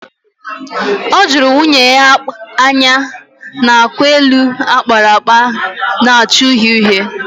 O juru nwunye ya anya n'akwa elu akpara akpa na-acha uhie uhie